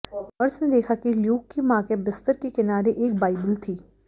nurse ने देखा कि ल्यूक की मां के बिस्तर के किनारे एक बाइबिल थी